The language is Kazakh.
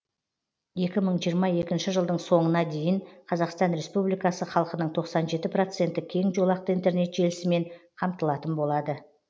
екі мың жиырма екінші жылдың соңына дейін қазақстан республикасы халқының тоқсан жеті проценті кең жолақты интернет желісімен қамтылатын болады